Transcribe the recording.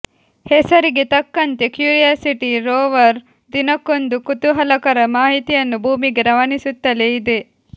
ಹೆಸರಿಗೆ ತಕ್ಕಂತೆ Curiosity rover ದಿನಕ್ಕೊಂದು ಕುತೂಹಲಕರ ಮಾಹಿತಿಯನ್ನು ಭೂಮಿಗೆ ರವಾನಿಸುತ್ತಲೇ ಇದೆ